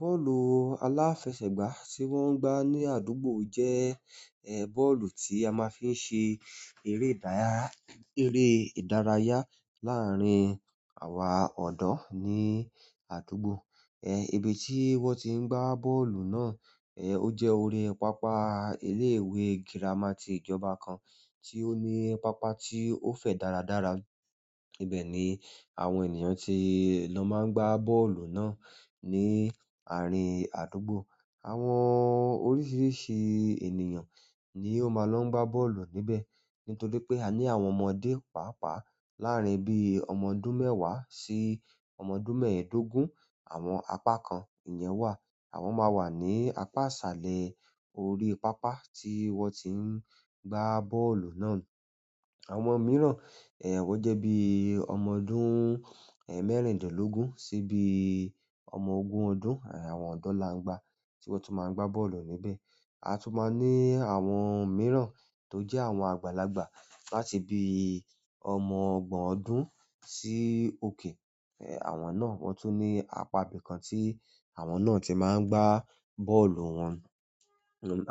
Bọ́ọ̀lù aláfẹsẹ̀gbá tí wọ́n ń gbá ní àdúgbò jẹ́, bọ́ọ̀lù tí a máa fi ń ṣe eré ìdáyára, eré ìdárayá láàárín àwa ọ̀dọ́ ní àdúgbò. Ibi tí wọ́n ti ń gbá bọ́ọ̀lù náà, ó jẹ́ orí pápá ilé ìwé girama ti ìjọba kan tí ó ní pápá tí ó fẹ̀ dáradára. Ibe ni àwọn ènìyàn ti lo maa n gba bọ́ọ̀lù náà ni àárín àdúgbò. Àwọn oríṣiríṣi ènìyàn ni ó máa lọ ń gbá bọ́ọ̀lù níbẹ̀. Nítorí pé a ní àwọn ọmọdé, pàápàá láàárín bíi ọmọ ọdún mẹ́wàá sí ọmọ ọdún mẹ́ẹ̀ẹ́dógún. Àwọn apá kan ìyẹn wà, àwọn máa wà ní apá iṣálẹ́ orí pápá tí wọ́n ti ń gbá bọ́ọ̀lù náà. Àwọn mìíràn, wọ́n jẹ́ bí ọmọ ọdún, mẹ́rìndínlógún sí bií ọmọ ogún ọdún, àwọn ọ̀dọ́làńgbá tí wọ́n tún máa ń gbá bọ́ọ̀lù níbẹ̀. A tun maa n ni àwọn mìíràn to je àwọn àgbàlagbà láti bíi ọmọ ogbon ọdún si oke àwọn náà wọ́n tún ní apá ibi kan tí àwọn náà ti máa ń gbá bọ́ọ̀lù wọn.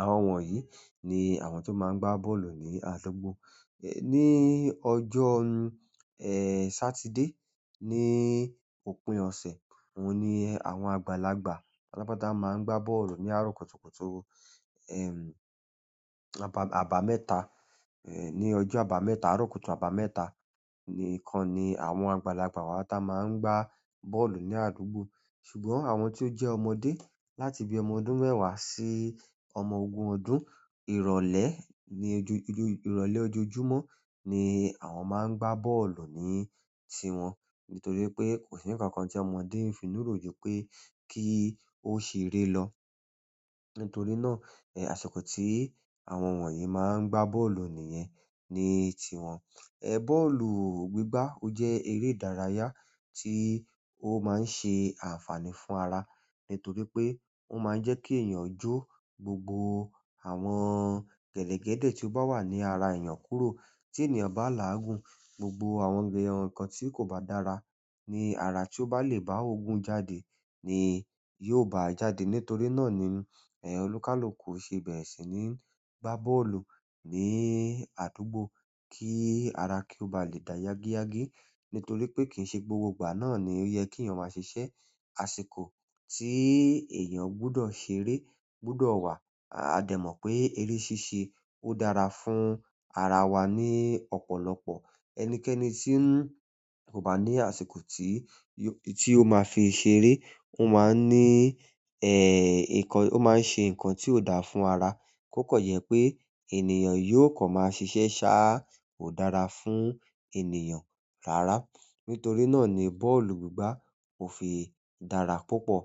Àwọn wọ̀nyí ni àwọn tó máa ń gbá bọ́ọ̀lù ní àdúgbò. Ní ọjọ́ Satide ní òpin ọ̀sẹ̀, òun ni àwọn àgbàlagbà pátápátá máa ń gbá bọ́ọ̀lù ní àárọ̀ kùtùkùtù. Àbà, àbámẹ́ta, ní ọjọ́ àbámẹ́ta, àárọ̀ kùtù àbámẹ́ta nìkan ni àwọn àgbàlagbà wa táa máa ń gbá bọ́ọ̀lù ní àdúgbò. Ṣùgbọ́n àwọn tí ó jẹ́ ọmọdé láti bí ọmọ ọdún mẹ́wàá sí ọmọ ogún ọdún, ìrọ̀lẹ́ ní ojo ojoju, ìrọ̀lẹ́ ojoojúmọ́ ni àwọn máa ń gbá bọ́ọ̀lù ní tiwọn. Nítorí pé kò sí nǹkan kan tí ọmọdé ń finùrò jù pé kí ó ṣe eré lọ. Nítorí náà, àsìkò tí àwọn wọ̀nyí máa ń gbá bọ́ọ̀lù nìyẹn ní tiwọn. Bọ́ọ̀lù gbígbá ó jẹ́ eré ìdárayá tí ó máa ń ṣe àǹfààní fún ara. Nítorí pe o maa n je ki eeyan jo gbogbo àwọn gedegede ti o ba wa ni ara eeyan kúrò. Tí ènìyàn bá làágùn, gbogbo àwọn ǹkan tí kò bá dára ní ara tí ó bá lè bá òogùn jáde ni yóò bá a jáde. Nítorí náà ni, olúkálúkù ṣe bẹ̀rẹ̀ sí níi gbá bọ́ọ̀lù ní àdúgbò kí ara kí ó bá lè da yágíyágí. Nítorí pé kì í ṣe gbogbo ìgbà náà ni ó yẹ kí èèyàn máa ṣiṣẹ́. Àsìkò ti eeyan gbodo ṣeré gbodo wa. A dẹ̀ mọ̀ pé eré ṣíṣe ó dára fún ara wa ní ọ̀pọ̀lọpọ̀. Ẹnikẹ́ni tí n kò bá ní àsìkò tí yo, tí ó máa fi ṣeré, ó máa ń ní, nǹkan, ó máa ń ṣe nǹkan tí ó daà fún ara. Ko kan jẹ pé ènìyàn yóò kan máa ṣiṣẹ́ sáa kò dára fún ènìyàn rárá. Nítorí náà ni bọ́ọ̀lù gbígbá ò fi dára púpọ̀.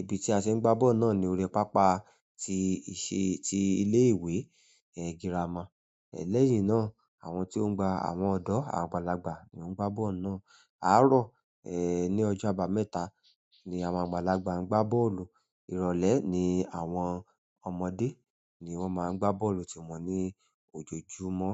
Ibi tí a ti ń gbá bọ́ọ̀lù náà ni orí pápá tí ìṣe, ti ilé ìwé girama. Lẹ́yìn náà, àwọn tí ó ń gba àwọn ọ̀dọ́, àwọn àgbàlagbà ni ó ń gbá bọ́ọ̀lù náà. Àárọ̀, eh, ní ọjọ́ àbámẹ́ta ni àwọn àgbàlagbà ń gbá bọ́ọ̀lù. Ìrọ̀lẹ́ ni àwọn ọmọdé ni wọ́n máa ń gbá bọ́ọ̀lù tìwọn ní ojoojúmọ́.